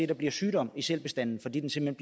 der bliver sygdom i sælbestanden fordi den simpelt